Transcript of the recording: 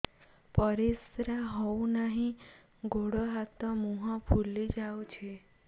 ପରିସ୍ରା ହଉ ନାହିଁ ଗୋଡ଼ ହାତ ମୁହଁ ଫୁଲି ଯାଉଛି